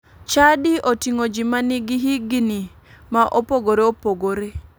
Chadi oting'o ji ma nigi higini ma opogore opogore.